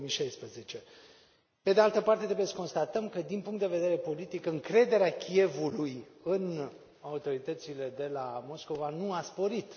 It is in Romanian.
2016. Pe de altă parte, trebuie să constatăm că, din punct de vedere politic, încrederea Kievului în autoritățile de la Moscova nu a sporit.